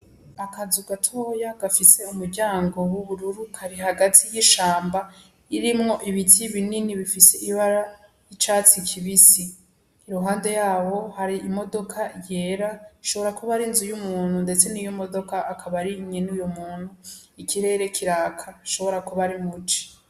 Akazu gatoya gafise umuryango w'ubururu Kari hagati y'ishamba ririmwo ibiti binini bifise ibara ry'icatsi kibisi, iruhande yabo hari imodoka yera ishobora kuba arinzu y'umuntu ndetse niyomodoka akaba ari nyenuyo muntu ikirere kiraka ashobora kuba ari muci.